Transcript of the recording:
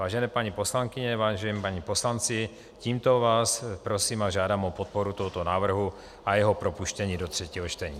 Vážené paní poslankyně, vážení páni poslanci, tímto vás prosím a žádám o podporu tohoto návrhu a jeho propuštění do třetího čtení.